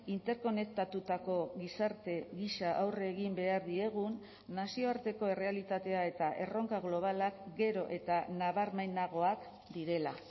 interkonektatutako gizarte gisa aurre egin behar diegun nazioarteko errealitatea eta erronka globalak gero eta nabarmenagoak direla